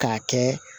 K'a kɛ